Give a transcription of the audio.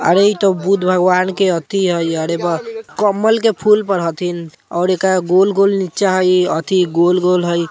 अरे इ त बुद्ध भगवान के एथी हईअरे ब कमल के फूल पर हथनी और एका गोल-गोल नीचा हई एथी गोल-गोल हई।